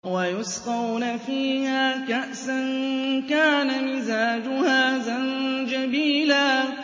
وَيُسْقَوْنَ فِيهَا كَأْسًا كَانَ مِزَاجُهَا زَنجَبِيلًا